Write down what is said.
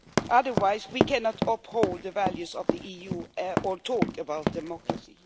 Otherwise, we cannot uphold the values of the EU or talk about democracy.